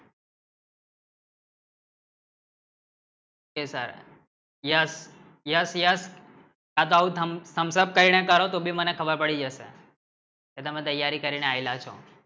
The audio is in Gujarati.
કેસર યસ યસ યસ હા જાવું Thumbs Up કઈને કરો તો ભી મને ખબર પડી જશે એ તો મેં તૈયારી કરીને આયેલા છો